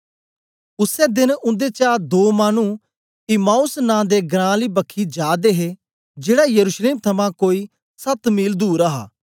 उसै देन उन्देचा दो मानु इम्माऊस नां दे घरां आली बखी जा दे हे जेड़ा यरूशलेम थमां कोई सत मील दूर हा